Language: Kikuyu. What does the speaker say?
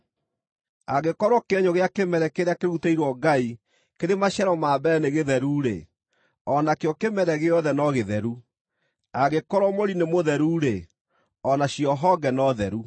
Angĩkorwo kĩenyũ gĩa kĩmere kĩrĩa kĩrutĩirwo Ngai kĩrĩ maciaro ma mbere nĩ gĩtheru-rĩ, o nakĩo kĩmere gĩothe no gĩtheru; angĩkorwo mũri nĩ mũtheru-rĩ, o nacio honge no theru.